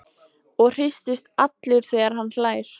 Og hristist allur þegar hann hlær.